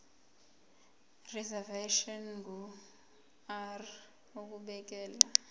reservation ngur ukubekelwa